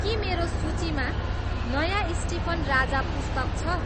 के मेरो सूचीमा नयाँ स्टीफन राजा पुस्तक छ